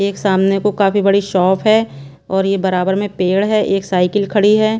एक सामने को काफी बड़ी शॉप है और ये बराबर में पेड़ है एक साइकिल खड़ी है।